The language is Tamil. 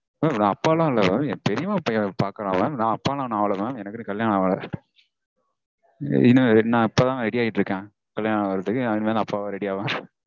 mam நா அப்பாலாம் இல்ல mam. என் பெரியம்மா பையன் பாக்கறான் mam. நா அப்பாலாம் இன்னும் ஆகல mam. நா இப்போதா ready ஆயிட்டிருக்கேன் கல்யாணம் ஆகறதுக்கு. நா இனிமேல் அப்பாவா ready ஆவேன்